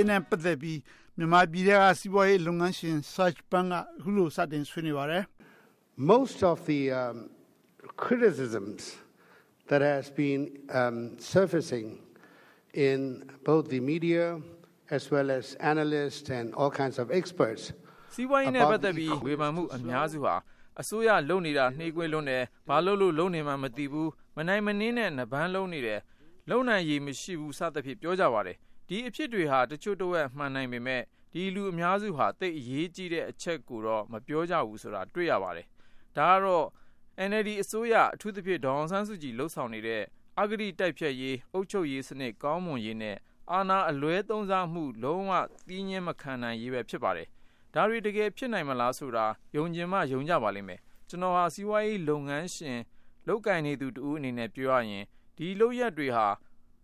ေးနဲ့ ပတ်သက်ပြီး မြန်မာနိုင်ငံထဲက စီးပွားရေးလုပ်ငန်းရှင် Serge Pun က အခုလို စတင်ဆွေးနွေးပါတယ်။ Serge Pun ။ ။ စီးပွားရေးပတ်သက်ပြီး ဝေဖန်မှု အများစုဟာ အစိုးရလုပ်နေတာ နှေးကွေးလွန်း တယ်။ ဘာလုပ်လို့ လုပ်နေမှန်းမသိဘူး။ မနိုင်နင်းနဲ့ နပန်းလုံးနေတယ်။ လုပ်နိုင်ရည်မရှိဘူး စသဖြင့် ပြောကြပါတယ်။ ဒီအဖြစ်တွေက တချို့တဝက် မှန်နိုင်ပေမယ့် ဒီလူအများစုဟာ သိပ်အရေးကြီးတဲ့အချက်ကိုတော့ မပြောကြဘူးဆိုတာ တွေ့ရပါတယ်။ ဒါကတော့ NLD အစိုးရ အထူးသဖြင့် ဒေါ်အောင်ဆန်းစုကြည် လုပ်ဆောင်နေတဲ့ အဂတိတိုက်ဖျက်ရေး၊ အုပ်ချုပ်ရေး စနစ်ကောင်းမွန်ရေးနဲ့ အာဏာအလွဲသုံးစားမှု လုံးဝလက်မခံနိုင်ရေးပဲ ဖြစ်ပါတယ်။ ဒါတွေ တကယ်ဖြစ်နိုင်မလားဆိုတာ ယုံချင်မှ ယုံကြပါလိမ့်မယ်။ ကျနော်ဟာ စီးပွားရေးလုပ်ငန်းရှင် လုပ်ကိုင်နေသူတဦးအနေနဲ့ ပြောရရင် ဒီလုပ်ရပ်တွေဟာ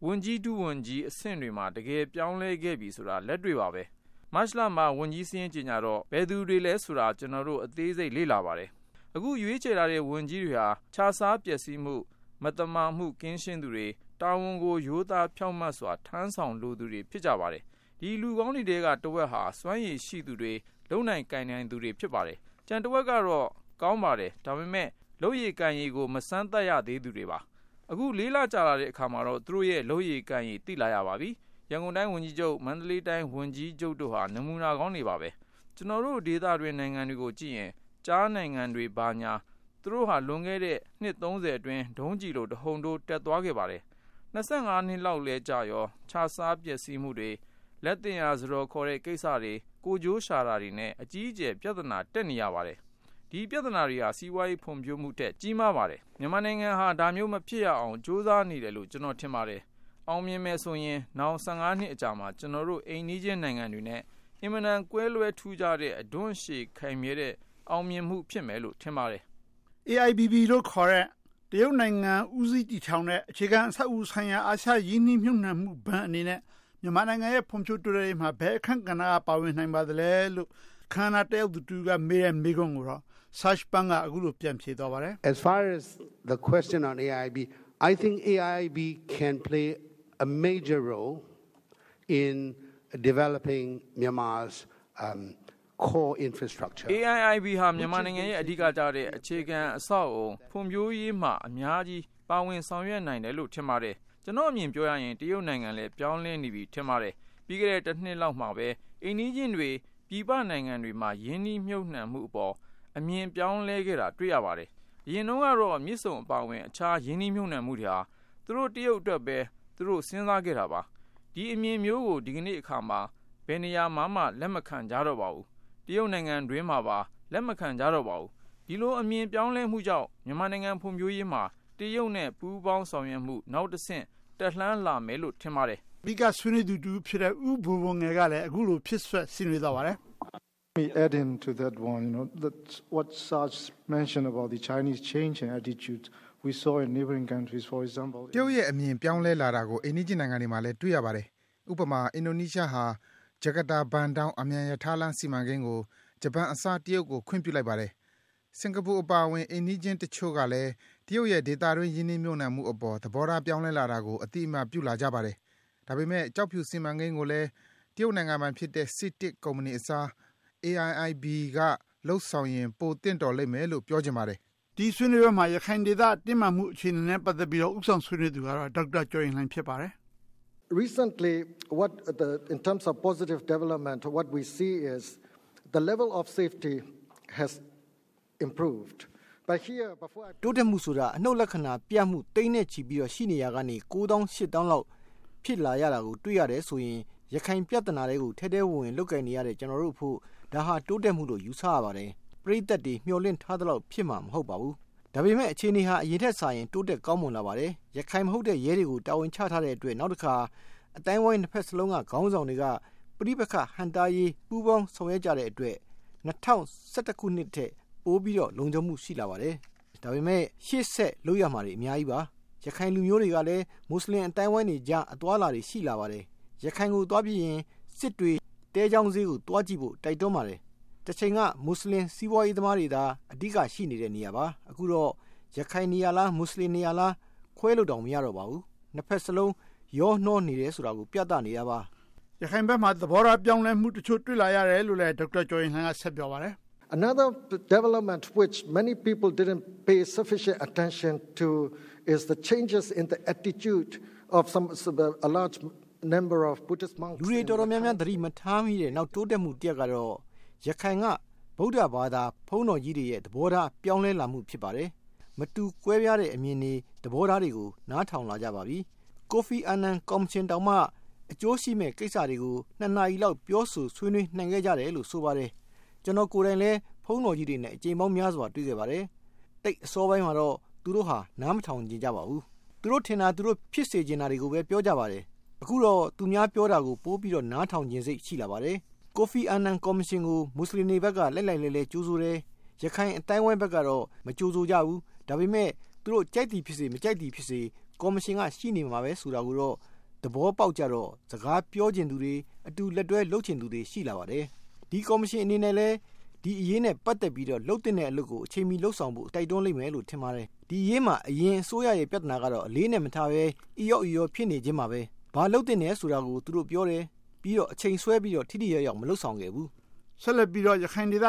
ဝန်ကြီး၊ ဒုဝန်ကြီးအဆင့်တွေမှာ တကယ်ပြောင်းလဲခဲ့ပြီဆိုတာ လက်တွေ့ပါပဲ။ မတ်လမှာ ဝန်ကြီးစာရင်းကြေညာတော့ ဘယ်သူတွေလဲဆိုတာ ကျနော်တို့ အသေးစိတ်လေ့လာပါတယ်။ အခု ရွေးချယ်ထားတဲ့ ဝန်ကြီးတွေဟာ ခြစားပျက်စီးမှု၊ မသမာမှု ကင်းရှင်း သူတွေ၊ တာဝန်ကို ရိုးသားဖြောင့်မတ်စွာ ထမ်းဆောင်လိုသူတွေ ဖြစ်ကြပါတယ်။ ဒီလူကောင်းတွေထဲက တဝက်ဟာ စွမ်းရည်ရှိသူတွေ၊ လုပ်နိုင်ကိုင်နိုင်သူတွေ ဖြစ်ပါတယ်။ ကျန်တဝက်ကတော့ ကောင်းပါတယ်။ ဒါပေမဲ့ လုပ်ရည်ကိုင်ရည်ကို မစမ်းသပ်ရသေးသူတွေပါ။ အခု လေးလကြာလာတဲ့အခါမှာတော့ သူတို့ရဲ့ လုပ်ရည်ကိုင်ရည်တွေကို သိလာရပါပြီ။ ရန်ကုန်တိုင်းဝန်ကြီးချုပ်၊ မန္တလေးတိုင်းဝန်ကြီးချုပ်တို့ဟာ နမူနာကောင်းတွေပါ။ ကျနော်တို့ဒေသတွင်း နိုင်ငံတွေကို ကြည့်လိုက်ရင် ကျားနိုင်ငံတွေ ဘာညာ သူတို့ဟာ လွန်ခဲ့တဲ့ နှစ် အတွင်း ဒုံးကျည်လို တဟုန်ထိုးတက်သွားပါတယ်။ နှစ်လောက်လည်း ကြာရော ခြစားပျက်စီးမှုတွေ၊ လက်သင့်ရာ စားတော်ခေါ်တဲ့ကိစ္စတွေ၊ ကိုယ်ကျိုးရှာတာတွေနဲ့ အကြီးအကျယ် ပြဿနာတက်နေရပါတယ်။ ဒီပြဿနာတွေဟာ စီးပွားရေးဖွံ့ဖြိုးမှုထက် ကြီးမားပါတယ်။ မြန်မာနိုင်ငံဟာ ဒါမျိုးမဖြစ်ရလေအောင် ကြိုးစားနေတယ်လို့ ကျနော်ထင်ပါတယ်။ အောင်မြင်မယ်ဆိုရင် နောင် နှစ်အကြာမှာ အိမ်နီးချင်းနိုင်ငံတွေနဲ့ အင်မတန် ကွဲလွဲထူးခြားတဲ့ အဓွန့်ရှည်ခိုင်မြဲတဲ့ အောင်မြင်မှုဖြစ်မယ်လို့ ထင်ပါတယ်။ ဦးကျော်ဇံသာ ။ ။ AIBB လို့ ခေါ်တဲ့ တရုတ်နိုင်ငံ ဦးစီးတည်ထောင်တဲ့ အခြေခံအဆောက်အအုံ ဆိုင်ရာ အာရှရင်းနှီးမြှုပ်နံှမှုဘဏ်အနေနဲ့ မြန်မာနိုင်ငံရဲ့ ဖွံ့ဖြိုးတိုးတက်ရေးမှာ ဘယ်အခန်းကဏ္ဍ က ပါဝင်နိုင်ပါလဲလို့ အခမ်းအနားတက်ရောက်သူ တဦးကမေးတဲ့ မေးခွန်းကိုတော့ Serge Pun က အခုလို ပြန်ဖြေသွားပါတယ်။ Serge Pun ။ ။ AIBB ဟာ မြန်မာနိုင်ငံရဲ့ အဓိကကျတဲ့ အခြေခံအဆောက်အအုံ ဖွံ့ဖြိုးရေးမှာ အများကြီး ပါဝင်ဆောင်ရွက်နိုင်တယ်လို့ ထင်ပါတယ်။ ကျနော့် အမြင်ပြောရရင် တရုတ်နိုင်ငံလည်း ပြောင်းလဲနေပြီ ထင်ပါတယ်။ ပြီးခဲ့တဲ့ တနှစ်လောက်မှာပဲ အိမ်နီးချင်းတွေ ပြည်ပနိုင်ငံတွေမှာ ရင်းနှီးမြှုပ်နံှမှုအပေါ် အမြင်ပြောင်းလဲခဲ့တာ တွေ့ရပါတယ်။ အရင်တုန်းကတော့ မြစ်ဆုံအပါအဝင် အခြားရင်းနှီး မြှုပ်နံှမှုတွေဟာ သူတို့ တရုတ်အတွက်ပဲ သူတို့ စဉ်းစားခဲ့တာပါ။ ဒီအမြင်မျိုးကို ဒီနေ့အခါမှာ ဘယ်နေရာမှာမှ လက်မခံကြတော့ပါဘူး။ တရုတ်နိုင်ငံအတွင်းမှာပါ လက်မခံကြတော့ပါဘူး။ ဒီလို အမြင်ပြောင်းလဲမှုကြောင့် မြန်မာနိုင်ငံ ဖွံ့ဖြိုးရေးမှာ တရုတ်နဲ့ ပူးပေါင်းဆောင်ရွက်မှု နောက်တဆင့် တက်လှမ်းလာမယ်လို့ ထင်ပါတယ်။ ဦးကျော်ဇံသာ ။ ။ အဓိက ဆွေးနွေးသူတဦးဖြစ်တဲ့ ဦးဘိုဘိုငယ်ကလည်း အခုလို ဖြည့်စွက်ဆွေးနွေးသွားပါတယ်။ ဦးဘိုဘိုငယ် ။ ။ တရုတ်ရဲ့အမြင် ပြောင်းလဲလာတာကို အိမ်နီးချင်းနိုင်ငံတွေမှာလည်း တွေ့ရပါ တယ်။ ဥပမာ အင်ဒိုနီးရှားဟာ ဂျကာတာ-ဘန်ဒေါင်း အမြန်ရထားလမ်းစီမံကိန်းကို ဂျပန်အစား တရုတ်ကို ခွင့်ပြုလိုက်ပါတယ်။ စင်္ကာပူအပါအဝင် အိမ်နီးချင်းတချိုု့ကလည်း တရုတ်ရဲ့ ဒေသတွင်း ရင်းနှီးမြှုပ်နံှမှုအပေါ် သဘောထားပြောင်းလဲလာတာကို အသိအမှတ် ပြုလာကြပါ တယ်။ ဒါပေမယ့်ကျောက်ဖြူစီမံကိန်းကိုလည်း တရုတ်နိုင်ငံပိုင်ဖြစ်တဲ့ စီတစ်ကုမ္ပဏီအစား AIBB က လုပ်ဆောင်ရင် ပိုသင့်လျော်လိမ့်မယ်လို့ ပြောချင်ပါတယ်။ ဦးကျော်ဇံသာ ။ ။ ဒီဆွေးနွေးပွဲမှာ ရခိုင်ဒေသတင်းမာမှုနဲ့ ပတ်သက်ပြီးတော့ ဦးဆောင်ဆွေးနွေး သူကတော့ ဒေါက်တာကျော်ရင်လှိုင် ဖြစ်ပါတယ်။ ဒေါက်တာကျော်ရင်လှိုင် ။ ။ တိုးတက်မှုဆိုတာ အနုတ်လက္ခဏာပြမှု သိန်းနဲ့ချီပြီ ရှိနေရာကနေ ကိုးသောင်းရှစ်သောင်းလောက် ဖြစ်လာခဲ့ တာကို တွေ့ရတယ်ဆိုရင် ရခိုင်ပြဿနာထဲကို ထဲထဲဝင်ဝင် လုပ်ကိုင်နေရတဲ့ ကျနော်တို့အဖို့ ဒါဟာ တိုးတက်မှုလို့ ယူဆရပါတယ်။ ပရိသတ်တွေ မျှော်လင့်ထားသလောက် ဖြစ်လာမှာ မဟုတ်ပါဘူး။ ဒါပေမယ့် အခြေအနေက အရင်ထက်စာရင် တိုးတက်ကောင်းမွန်လာ ပါတယ်။ ရခိုင်မဟုတ်တဲ့ ရဲတွေကို တာဝန်ချထားတဲ့ အတွက် နောက်တခါ အသိုင်းအဝိုင်းနှစ်ဘက်စလုံးက ခေါင်းဆောင်တွေက ပဋိပက္ခ ဟန့်တားရေး ပူးပေါင်းဆောင်ရွက်ကြတဲ့အတွက် ၂၀၁၁ ခုနှစ်ထက် ပိုပြီးတော့ လုံခြုံမှု ရှိလာပါတယ်။ ဒါပေမဲ့ ရှေ့ဆက်လုပ်ရမှာတွေ အများကြီးပါ။ ရခိုင်လူမျိုးတွေကလည်း မွတ်ဆလင် အသိုင်း အဝိုင်းတွေ ကြား အသွားအလာတွေ ရှိလာပါတယ်။ ရခိုင်ကို သွားပြီးရင် စစ်တွေ သဲချောင်းဈေး ကို သွားကြည့်ဖို့ တိုက်တွန်းပါတယ်။ တချိန်က မွတ်ဆလင်စီးပွားရေးသမားတွေသာ အဓိက ရှိနေတဲ့ နေရာပါ။ အခုတော့ ရခိုင်နေရာလား၊ မွတ်ဆလင်နေရာလား ခွဲလို့တောင် မရတော့ ပါဘူး။ နှစ်ဘက်စလုံး ရောနှောနေတယ်ဆိုတာကို ပြသနေတာပါ။ ဦးကျော်ဇံသာ ။ ။ ရခိုင်ဘက်မှာ သဘောထားပြောင်းလဲမှု တချို့ တွေ့လာရတယ် လို့လည်း ဒေါက်တာကျော်ရင်လှိုင် က ဆက်ပြောပါတယ်။ ဒေါက်တာကျော်ရင်လှိုင် ။ ။ လူတွေတော်တော်များများ သတိမထားမိတဲ့ နောက်တိုးတက်မှု တရပ်ကတော့ ရခိုင်က ဗုဒ္ဓဘာသာ ဘုန်းတော်ကြီးတွေ သဘောထား ပြောင်းလဲလာပါတယ်။ မတူကွဲပြားတဲ့အမြင်တွေ၊ သဘောထားတွေကို နားထောင်လာကြပါပြီ။ ကိုဖီအာန်နန်ကော်မရှင်တောင်မှ အကျိုးရှိမယ့်ကိစ္စတွေကို နှစ်နာရီလောက် ပြော ဆို ဆွေးနွေးနိုင်ခဲ့ကြတယ်လို့ ဆိုပါတယ်။ ကျနော်ကိုယ်တိုင်လည်း ဘုန်းတော်ကြီးတွေနဲ့ အကြိမ်ပေါင်းများစွာ တွေ့ခဲ့ပါတယ်။ အစောပိုင်းမှာတော့ သူတို့ဟာနားမထောင်ချင်ကြပါဘူး။ သူတို့ထင်တာ၊ သူတို့ ဖြစ်စေချင်တာတွေကိုပဲ ပြောကြပါတယ်။ အခုတော့ သူများပြောတာကို ပိုပြီးနားထောင်ချင်စိတ် ပိုရှိလာပါတယ်။ ကိုဖီအာနန် ကော်မရှင်ကို မွတ်ဆလင်တွေဘက်က လှိုက်လှိုက်လဲှလှဲ ကြိုဆိုတယ်။ ရခိုင်အသိုင်းအဝိုင်းဘက်ကတော့ မကြိုဆိုကြဘူး။ ဒါပေမဲ့ သူတို့ ကြိုက်သည်ဖြစ်စေ၊ မကြိုက်သည်ဖြစ်စေ ကော်မရှင်ကရှိနေမယ်ဆိုတာကိုတော့ သဘောပေါက်ကြတော့ စကားပြောချင်သူတွေ အတူလက်တွဲလုပ်ချင်သူတွေ ရှိလာပါတယ်။ ဒီကော်မရှင်အနေနဲ့လည်း ဒီအရေးနဲ့ ပတ်သက်ပြီးတော့ လုပ်သင့်တဲ့အလုပ်ကို အချိန်မီ လုပ်ဆောင်ဖို့ တိုက်တွန်းလိမ့်မယ်လို့ ထင်ပါတယ်။ ဒီအရေးမှာ အရင်အစိုးရရဲ့ ပြဿနာကတော့ အလေးအနက်မထားဘဲ အီရော့အီရော ဖြစ်နေခြင်းပါပဲ။ ဘာလုပ်သင့်ဖို့ဆိုတာကို သူတို့ပြောတယ်။ ပြီးတော့ အချိန်ဆွဲပြီးတော့ ထိထိရောက်ရောက် မလုပ်ဆောင်ခဲ့ဘူး။ ဦိးကျော်ဇံသာ ။ ။ ဆက်လက်ပြီးတော့ ရခိုင်ဒေသ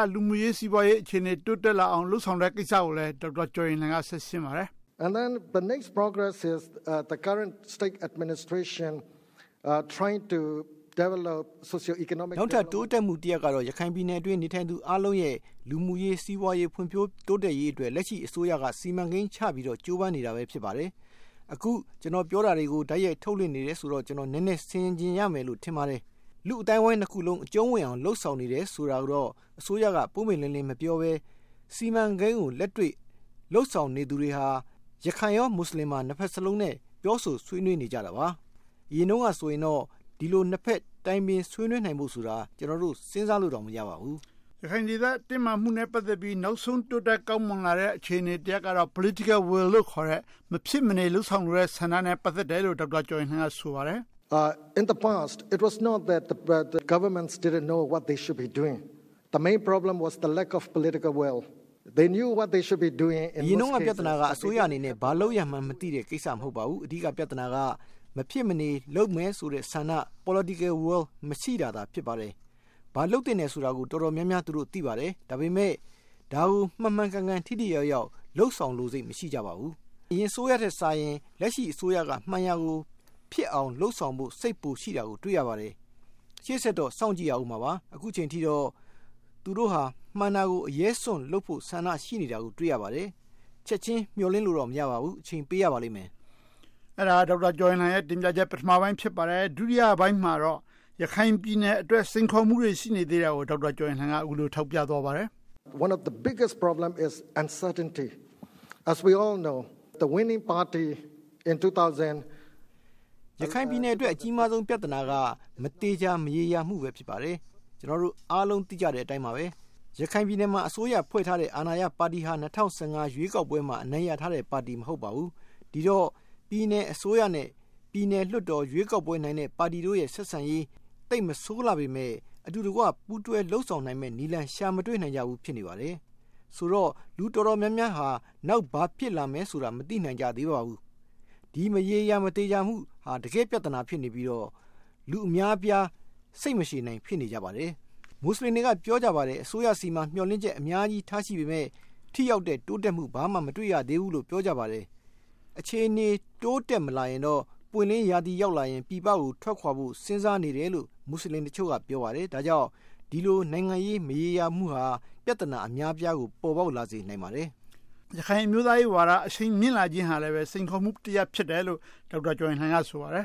စီးပွားရေး၊ လူမှုရေး အခြေအနေ တိုးတက်လာအောင် လုပ်ဆောင်တဲ့ကိစ္စကို ဒေါက်တာကျော်ရင်လှိုင် က ဆက်ရှင်းပါတယ်။ ဒေါက်တာကျော်ရင်လှိုင် ။ ။ နောက်ထပ်တိုးတက်မှုတရပ်ကတော့ ရခိုင်ဒေသအတွင်း နေထိုင်သူအားလုံးရဲ့ လူမှုရေး၊ စီးပွားရေး ဖွံ့ဖြိုး တိုးတက်ရေးအတွက် လက်ရှိအစိုးရက စီမံကိန်းချပြီးတော့ ကြိုးပမ်းနေတာပဲ ဖြစ်ပါတယ်။ အခု ပြောနေတာတွေကို တိုက်ရိုက်ထုတ်လွှင့် နေတယ်ဆိုတော့ ကျနော် နည်းနည်းဆင်ခြင်ရမယ်လို့ ထင်ပါတယ်။ လူ့အသိုင်းအဝိုင်းနှစ်ခုလုံး အကျုံးဝင်အောင် လုပ်ဆောင်နေတယ် ဆိုတာကိုတော့ အစိုးက ပွင့်ပွင့်လင်းလင်း မပြောဘဲ စီမံကိန်းကို လက်တွေ့လုပ်ဆောင်နေသူတွေဟာ ရခိုင်၊ မွတ်ဆလင် နှစ်ဘက်စလုံးနဲ့ ပြောဆိုဆွေးနွေးနေကြတာပါ။ အရင်တုန်းကဆိုရင်တော့ ဒီလို နှစ်ဘက်တိုင်ပင်ဆွေးနွေးနိုင်ဖို့ဆိုတာ ကျနော်တို့ စဉ်းစားလို့တောင် မရပါဘူး။ ဦးကျော်ဇံသာ ။ ။ ရခိုင်ဒေသ တင်းမာမှုနဲ့ ပတ်သက်ပြီး နောက်ဆုံး တိုးတက်ကောင်းမွန်လာတဲ့ အခြေအနေတရပ်ကတော့ Political Will လို့ခေါ်တဲ့ မဖြစ်မနေ လုပ်ဆောင်လိုတဲ့ ဆန္ဒနဲ့ ပတ်သက်တယ်လို့ ဒေါက်တာကျော်ရင်လှိုင် က ဆိုပါတယ်။ ဒေါက်တာကျော်ရင်လှိုင် ။ ။ အရင်တုန်းက ပြဿနာက အစိုးရအနေနဲ့ ဘာလုပ်ရမှန်းမသိတဲ့ကိစ္စ မဟုတ်ပါဘူး။ အဓိက ပြဿနာက မဖြစ်မနေလုပ်မယ်ဆိုတဲ့ ဆန္ဒ Political Will မရှိတာသာ ဖြစ်ပါတယ်။ ဘာလုပ်သင့်တယ်ဆိုတာကို တော်တော်များများ သူတို့ သိပါတယ်။ ဒါပေမယ့် ဒါကို မှန်မှန်ကန်ကန် ထိထိရောက်ရောက် လုပ်ဆောင်လိုစိတ် မရှိကြပါဘူး။ အရင်အစိုးရထက်စာရင် လက်ရှိအစိုးရက မှန်ရာကို ဖြစ်အောင်လုပ်ဆောင်ဖို့ စိတ်ပိုရှိတာကို တွေ့ရပါတယ်။ ရှေ့ဆက်တော့ စောင့်ကြည့်ရပါအုံးမှာပါ။ အခုအချိန်အထိတော့ သူတို့ဟာ မှန်တာကို အရဲစွန့်လုပ်ဖို့ ဆန္ဒရှိနေတာကို တွေ့ရပါတယ်။ ချက်ချင်းမျှော်လင့်လို့တော့ မရပါဘူး။ အချိန်ပေးရပါလိမ့်မယ်။ ဦးကျော်ဇံသာ ။ ။ အဲဒါက ဒေါက်တာကျော်ရင်လှိုင်ရဲ့ ပထမပိုင်း ဖြစ်ပါတယ်။ ဒုတိယပိုင်းမှာတော့ ရခိုင်ပြည်နယ်အတွက် စိန်ခေါ်မှုတွေ ရှိနေသေးတာကို ဒေါက်တာကျော်ရင်လှိုင် က အခုလို ထောက်ပြသွားပါတယ်။ ဒေါက်တာကျော်ရင်လှိုင် ။ ။ ရခိုင်ပြည်နယ်အတွက် အကြီးမားဆုံး ပြဿနာက မသေချာမရေရာမှု ဖြစ်ပါတယ်။ ကျနော်တို့အားလုံး သိကြတဲ့ အတိုင်းပါပဲ၊ ရခိုင်ပြည်နယ်မှာ အစိုးရဖွဲ့ထားတဲ့ အာဏာရပါတီဟာ ၂၀၁၅ ရွေးကောက်ပွဲမှာ အနိုင်ရထားတဲ့ပါတီ မဟုတ်ပါဘူး။ ဒီတော့ ပြည်နယ် အစိုးရနဲ့ ပြည်နယ်လွှတ်တော် ရွေးကောက်ပွဲအနိုင်ရတဲ့ ပါတီတို့ရဲ့ ဆက်ဆံရေး သိပ်မဆိုးလှပေမယ့် အတူတကွ ပူးတွဲလုပ်ဆောင် နိုင်မယ့်နည်းလမ်း ရှာမတွေ့နိုင်ဘူး ဖြစ်နေပါတယ်။ ဆိုတော့ လူတော်တော်များများဟာ နောက်ဘာဖြစ်လာမယ်ဆိုတာ မသိနိုင်ကြသေးပါဘူး။ ဒီမရေရာမသေချာမှုဟာ တကယ့်ပြဿနာ ဖြစ်နေပြီးတော့ လူအများအပြား စိတ်မရှည်နိုင် ဖြစ်နေကြပါတယ်။ မွတ်ဆလင်တွေ အများအပြား က ပြောနေကြပါတယ်၊ အစိုးရဆီမှာ မျှော်လင့်ချက်အများကြီးထားရှိပေမယ့် ထိရောက်တဲ့တိုးတက်မှု ဘာမှမတွေ့ရသေးဘူးလို့ ပြောကြပါ တယ်။ အခြေအနေ တိုးတက်မလာရင်တော့ ပွင့်လင်းရာသီရောက်လာရင် ပြည်ပကို ထွက်ခွာဖို့စဉ်းစားနေတယ်လို့ မွတ်ဆလင်တချို့က ပြောပါတယ်။ ဒါကြောင့် ဒီလို နိုင်ငံရေး မရေရာမှုဟာ ပြဿနာ အများအပြားကို ပေါ်ပေါက်လာစေနိုင်ပါတယ်။ ဦးကျော်ဇံသာ ။ ။ ရခိုင်အမျိုးသားရေးဝါဒ အရှိန်မြင့်လာတာဟာ စိန်ခေါ်မှုတရပ်ဖြစ်တယ်လို့ ဒေါက်တာကျော်ရင်လှိုင်က ဆိုပါတယ်။ ဒေါက်တာကျော်ရင်လှိုင် ။ ။ တခြားတိုင်းရင်းသားဒေသတွေ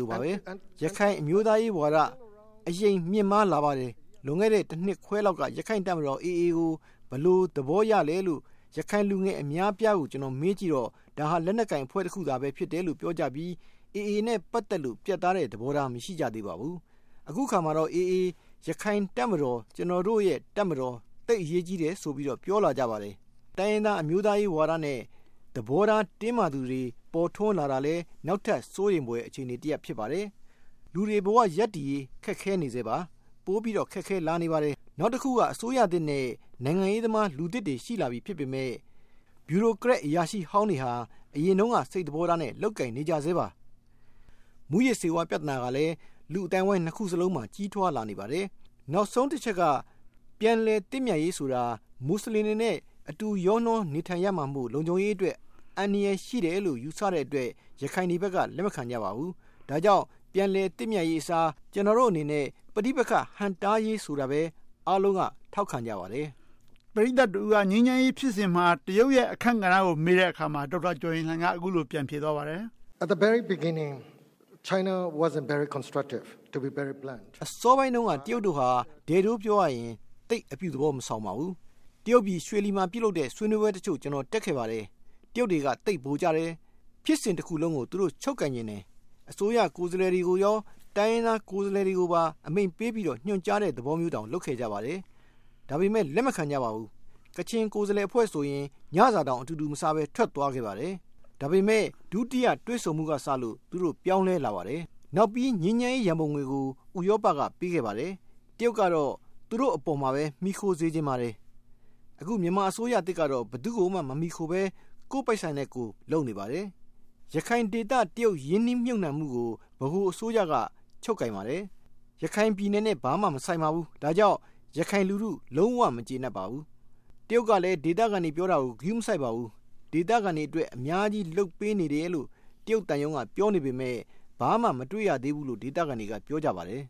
လိုပါပဲ၊ ရခိုင်အမျိုးသားရေးဝါဒ အရှိန်မြင့်မားလာပါတယ်။ လွန်ခဲ့တဲ့ တနှစ်ခွဲ လောက်က ရခိုင်တပ်မတော် AA ကို ဘယ်လို သဘောရလဲလို့ ရခိုင်လူငယ်အများအပြားကို မေးကြည့်တော့ ဒါဟာ လက်နက်ကိုင်အဖွဲ့ တခုသာလို့ ပြောကြပြီး AA နဲ့ ပတ်သက်လို့ ပြတ်သားတဲ့ သဘောထား မရှိကြသေးပါဘူး။ အခုအခါမှာတော့ AA ရခိုင်တပ်မတော် - ကျနော်တို့ရဲ့တပ်မတော် သိပ်အရေးကြီးတယ်ဆိုပြီး ပြောလာကြပါတယ်။ တိုင်းရင်းသားအမျိုးသားရေးဝါဒနဲ့ သဘောထားတင်းမာသူတွေ ပေါ်ထွန်းလာတာလည်း နောက်ထပ်စိုးရိမ်ဖွယ် အခြေအနေတရပ် ဖြစ်ပါတယ်။ လူတွေဘဝ ရပ်တည်ရေး ခက်ခဲနေဆဲပါ။ ပိုပြီးတော့ ခက်ခဲ လာနေပါတယ်။ နောက်တခုက အစိုးရသစ်နဲ့ နိုင်ငံရေးသမား လူသစ်တွေ ရှိလာပြီ ဖြစ်ပေမယ့် ဗျူရိုကရက်အရာရှိဟောင်းတွေဟာ အရင် တုန်းက စိတ်သဘောထားနဲ့ လုပ်ကိုင်နေကြဆဲပါ။ မူးယစ်ဆေးဝါး ပြဿနာကလည်း လူ့အသိုင်းအဝိုင်းနှစ်ခုစလုံးမှာ ကြီးထွားလာနေပါတယ်။ နောက်ဆုံးတချက်က ပြန်လည်သင့်မြတ်ရေးဆိုတာ မွတ်ဆလင်တွေနဲ့ အတူရောနှောနေထိုင်ရမှာမို့ လုံခြုံရေးအတွက် အန္တရာယ်ရှိတယ်လို့ ယူဆတဲ့အတွက် ရခိုင်တွေဘက်က လက်မခံကြပါဘူး။ ဒါကြောင့် ပြန်လည်သင့်မြတ်ရေးအစား ကျနော်တို့အနေနဲ့ ပဋိပက္ခဟန့်တားရေး ဆိုတာပဲ အားလုံးက ထောက်ခံကြပါတယ်။ ဦးကျော်ဇံသာ ။ ။ ပရိသတ်တဦးက ငြိမ်းချမ်းရေးဖြစ်စဉ်မှာ တရုတ်ရဲ့ အခန်းကဏ္ဍကို မေးကြည့်တဲ့အခါ ဒေါက်တာကျော်ရင်လှိုင်က အခုလို ပြန်ဖြေသွားပါတယ်။ ဒေါက်တာကျော်ရင်လှိုင် ။ ။ အစောပိုင်းတုန်းက တရုတ်တို့ဟာ ဒဲ့ဒိုးပြောရရင် သိပ်အပြုသဘောမဆောင်ပါဘူး။ တရုတ်ပြည် ရွှေလီမှာ ပြုလုပ်တဲ့ ဆွေးနွေးပွဲတချို့ ကျနော်တက်ခဲ့ပါတယ်။ တရုတ်တွေက သိပ်ဗိုလ်ကျတယ်။ ဖြစ်စဉ်တခုလုံးကို သူတို့ချုပ်ကိုင်ချင်တယ်။ အစိုးရ ကိုယ်စားလှယ်တွေကိုရော တိုင်းရင်းသားကိုယ်စားလှယ်တွေကို အမိန့်ပေးပြီး ညွှန်ကြားတဲ့သဘောမျိုးတောင် လုပ်ခဲ့ကြပါတယ်။ ဒါပေမယ့် လက်မခံကြပါဘူး။ ကချင်ကိုယ်စားလှယ်အဖွဲ့ဆိုရင် ညစာတောင် အတူတူမစားဘဲ ထွက်သွားခဲ့ပါတယ်။ ဒါပေမယ့် ဒုတိယတွေ့ဆုံမှုကစလို့ သူတို့ ပြောင်းလဲလာပါတယ်။ နောက်ပြီး ငြိမ်းချမ်းရေးရန်ပုံငွေကို ဥရောပကပေးခဲ့ပါတယ်။ တရုတ်ကတော့ သူတို့အပေါ်မှာပဲ မှီခိုစေချင်ပါ တယ်။ အခု မြန်မာအစိုးရသစ်ကတော့ ဘယ်သူကိုမှ မမှီခိုဘဲ ကိုယ့်ပိုက်ဆံနဲ့ကိုယ် လုပ်နေပါတယ်။ ရခိုင်ဒေသ တရုတ်ရင်းနှီးမြှုပ်နံှမှုကို ဗဟိုအစိုးရက ချုပ်ကိုင်ပါတယ်။ ရခိုင်ပြည်နယ်နဲ့ ဘာမှမဆိုင်ပါဘူး။ ဒါကြောင့် ရခိုင်လူထု လုံးဝမကျေနပ်ပါဘူး။ တရုတ်ကလည်း ဒေသခံတွေ ပြောတာကို ဂရုမစိုက်ပါဘူး။ ဒေသခံတွေအတွက် အများကြီး လုပ်ပေးနေတယ်လို့ တရုတ်သံရုံးက ပြောနေပေမယ့် ဘာမှ မတွေ့ရသေးဘူးလို့ ဒေသခံတွေက ပြောကြပါတယ်။